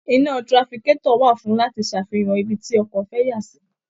Iná trafikátọ̀ wà fún láti ṣàfihàn ibi tí ọkọ̀ fẹ́ yà sí